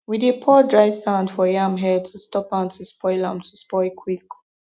we dey pour dry sand for yam head to stop am to spoil am to spoil quick